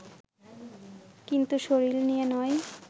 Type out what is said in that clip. কিন্তু শরীর নিয়ে নয়